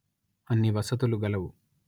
అన్ని వసతులు గలవు